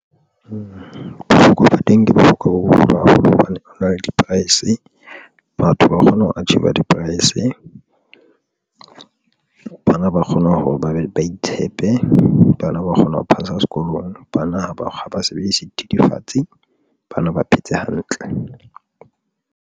Bohlokwa ba teng ke bohlokwa bo boholo haholo hobane jwale di-price batho ba kgona ho achiever di-price, bana ba kgona hore ba be ba itshepe, bana ba kgona ho phasa sekolong. Bana ha ba sebedise dithethefatsi, bana ba phetse hantle.